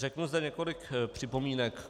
Řeknu zde několik připomínek.